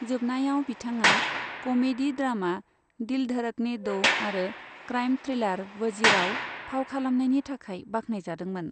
जोबनायाव बिथाङा comedy drama 'Dil Dhadakne Do'' आरो क्राइम थ्रिलार 'वजीर'आव फाव खालामनायनि थाखाय बाखनायजादोंमोन।